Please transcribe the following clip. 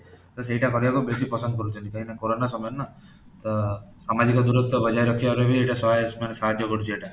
ତ ସେହିଟା କରିବାକଳୁ ବେଶୀ ପସନ୍ଦ କରୁଛନ୍ତି କାହିଁକି ନା corona ସମୟ ନା ସାମାଜିକ ଦୂରତ୍ୱ ବଜାୟ ରଖିବାରୁ ବି ଏଇଟା ସହାୟ ମାନେ ସାହାଯ୍ୟ କରୁଛି ଏଇଟା